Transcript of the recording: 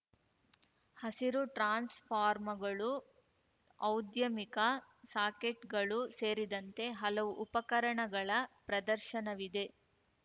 ಹಸಿರು ಟ್ರಾನ್ಸ್‌ಫಾರ್ಮಗಳು ಔದ್ಯಮಿಕ ಸಾಕೆಟ್‌ಗಳು ಸೇರಿದಂತೆ ಹಲವು ಉಪಕರಣಗಳ ಪ್ರದರ್ಶನವಿದೆ